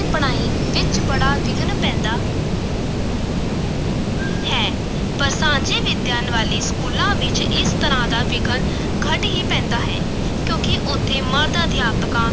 ਪੜਾਈ ਵਿਚ ਬੜਾ ਵਿਘਨ ਪੈਂਦਾ ਹੈ ਪਰ ਸਾਂਝੀ ਵਿਦਿਆ ਵਾਲੇ ਸਕੂਲਾਂ ਵਿੱਚ ਇਸ ਤਰ੍ਹਾਂ ਦਾ ਵਿਘਨ ਘੱਟ ਹੀ ਪੈਂਦਾ ਹੈ ਕਿਉਂਕਿ ਉੱਥੇ ਮਰਦ-ਅਧਿਅਕਾਂ